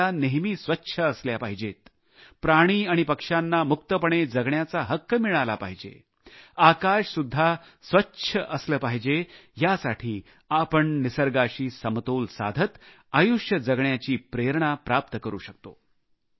नद्या नेहमी स्वच्छ असल्या पाहिजेत प्राणी आणि पक्ष्यांना मुक्तपणे जगण्याचा हक्क मिळाला पाहिजे आकाशसुद्धा स्वच्छ असले पाहिजे यासाठी आपण निसर्गाशी समतोल साधत आयुष्य जगण्याची प्रेरणा प्राप्त करू शकतो